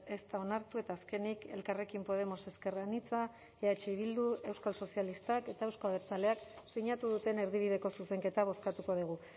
ez da onartu eta azkenik elkarrekin podemos ezker anitza eh bildu euskal sozialistak eta euzko abertzaleak sinatu duten erdibideko zuzenketa bozkatuko dugu